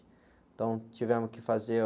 Então tivemos que fazer...